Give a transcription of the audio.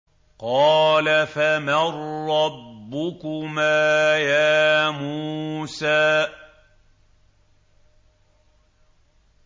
قَالَ فَمَن رَّبُّكُمَا يَا مُوسَىٰ